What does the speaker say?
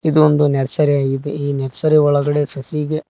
ಇದು ಒಂದು ನರ್ಸರಿಯಾಗಿದೆ ಈ ನರ್ಸರಿ ಒಳಗಡೆ ಸಸಿಗೆ--